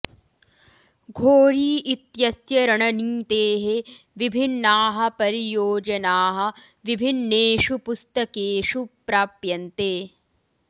घोरी इत्यस्य रणनीतेः विभिन्नाः परियोजनाः विभिन्नेषु पुस्तकेषु प्राप्यन्ते